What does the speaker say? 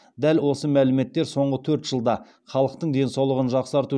дәл осы мәліметтер соңғы төрт жылда халықтың денсаулығын жақсарту